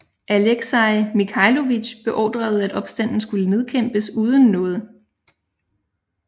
Alexei Mikhailovich beordrede at opstanden skulle nedkæmpes uden nåde